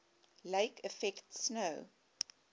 lake effect snow